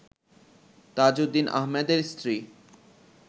তাজউদ্দিন আহমেদের স্ত্রী